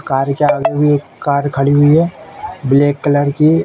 Car के आगे भी एक कार खड़ी हुई है ब्लैक कलर की।